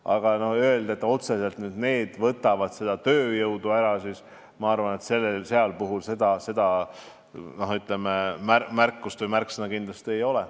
Aga öelda, et otseselt need võtavad tööjõudu ära – ma arvan, et seal seda märksõna kindlasti ei ole.